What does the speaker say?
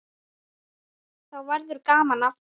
Þá verður gaman aftur.